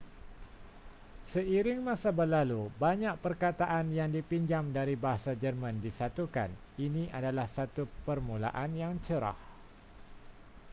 seiring masa berlalu banyak perkataan yang dipinjam dari bahasa jerman disatukan ini adalah satu permulaan yang cerah